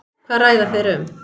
Hvað ræða þeir um?